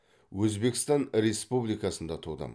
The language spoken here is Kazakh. өзбекстан республикасында тудым